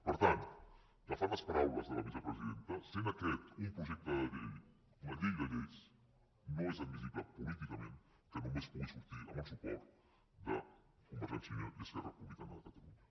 per tant agafant les paraules de la vicepresidenta essent aquest un projecte de llei una llei de lleis no és admissible políticament que només pugui sortir amb el suport de convergència i unió i esquerra republicana de catalunya